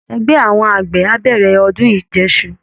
Ẹgbẹ́ àwọn àgbẹ̀ á bẹ̀rẹ̀ ọdún ìjẹṣu